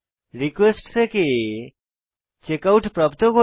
request থেকে checkout প্রাপ্ত করি